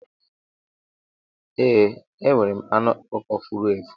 Ee, enwere m anụ ọkụkọ furu efu.